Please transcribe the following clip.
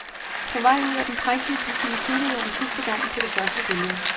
På vej ud af den prægtige bygning kiggede jeg en sidste gang på det første billede.